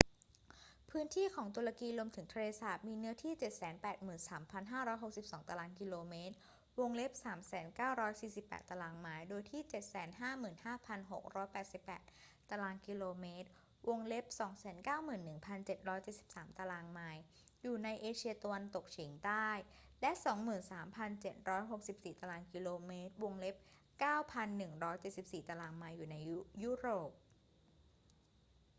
พื้นที่ของตุรกีรวมถึงทะเลสาบมีเนื้อที่ 783,562 ตารางกิโลเมตร 300,948 ตารางไมล์ โดยที่ 755,688 ตารางกิโลเมตร 291,773 ตารางไมล์ อยู่ในเอเชียตะวันตกเฉียงใต้ และ 23,764 ตารางกิโลเมตร 9,174 ตารางไมล์ อยู่ในยุโรป